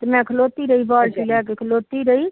ਤੇ ਮੈ ਖਲੋਤੀ ਰਹੀ ਬਾਲਟੀ ਭਰ ਕੇ ਖਲੋਤੀ ਰਹੀ